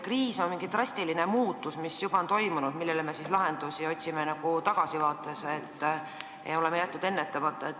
Kriis on mingi drastiline muutus, mis on juba toimunud, me otsime siis nagu tagasivaates lahendusi, oleme jätnud kriisi ennetamata.